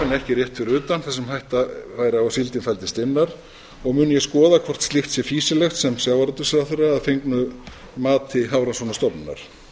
rétt fyrir utan þar sem hætta væri á að síldin fældist innar og mun ég skoða hvort slíkt sé fýsilegt sem sjávarútvegsráðherra að fengnu mati hafrannsóknastofnunar